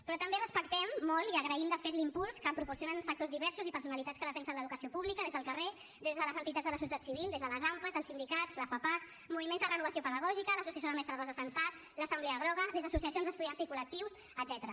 però també respectem molt i agraïm de fet l’impuls que proporcionen sectors diversos i personalitats que defensen l’educació pública des del carrer des de les entitats de la societat civil des de les ampa els sindicats la fapac moviments de renovació pedagògica l’associació de mestres rosa sensat l’assemblea groga des d’associacions d’estudiants i col·lectius etcètera